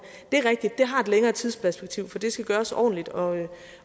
det rigtigt at det har et længere tidsperspektiv for det skal gøres ordentligt og